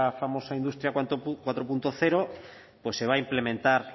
famosa industria cuatro punto cero pues se va a implementar